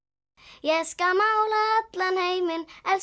ég skal mála allan heiminn elsku